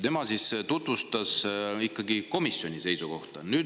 Tema tutvustas ikkagi komisjoni seisukohta.